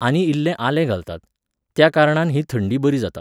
आनी इल्लें आलें घालतात. त्या कारणान ही थंडी बरी जाता.